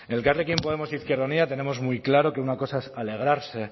elkarrekin podemos izquierda unida tenemos muy claro que una cosa es alegrarse